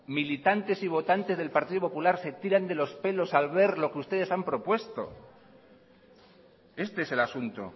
militantes y votantes del partido popular se tiran de los pelos al ver lo que ustedes han propuesto este es el asunto